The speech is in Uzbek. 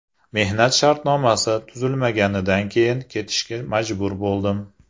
Mehnat shartnomasi tuzilmaganidan keyin ketishga majbur bo‘ldim.